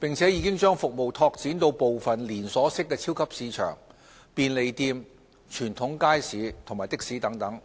並已將服務拓展至部分連鎖式超級市場、便利店、傳統街市及的士等。